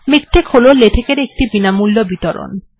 MiKTeX হল LaTeX এর একটি বিনামূল্য বিতরণ